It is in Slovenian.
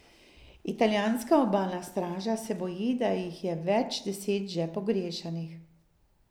Italijanska obalna straža se boji, da jih je več deset še pogrešanih.